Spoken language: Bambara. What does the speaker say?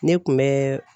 Ne kun bɛ